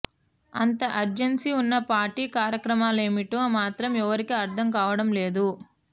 అంత అర్జెన్సీ ఉన్న పార్టీ కార్యక్రమాలేమిటో మాత్రం ఎవరికీ అర్థం కావడం లేదు